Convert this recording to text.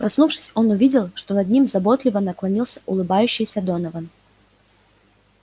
проснувшись он увидел что над ним заботливо наклонился улыбающийся донован